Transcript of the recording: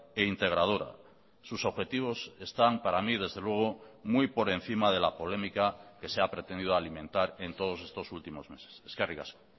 e integradora sus objetivos están para mí desde luego muy por encima de la polémica que se ha pretendido alimentar en todos estos últimos meses eskerrik asko